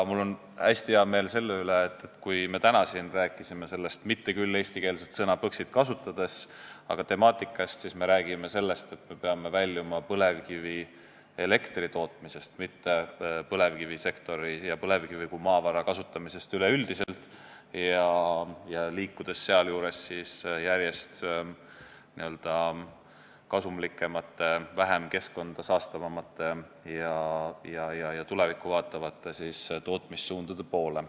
Mul on hästi hea meel selle üle, et kui me täna siin sellest temaatikast rääkisime, kasutades mitte küll eestikeelset nime Põxit, siis me rääkisime sellest, et me peame väljuma põlevkivielektri tootmisest, mitte põlevkivisektorist ja põlevkivi kui maavara kasutamisest üleüldiselt, vaid peame liikuma järjest n-ö kasumlikemate, vähem keskkonda saastavate ja rohkem tulevikku vaatavate tootmissuundade poole.